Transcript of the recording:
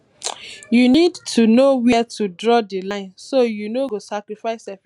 you need to know where to draw di line so you no go sacrifice efficiency for protocol